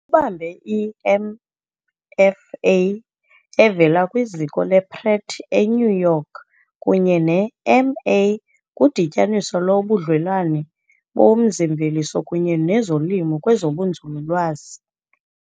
Ubambe i-MFA evela kwiZiko le-Pratt eNew York kunye ne-MA kuDityaniso loBudlelwane boMzi-mveliso kunye nezoLimo kwezobuNzululwazi.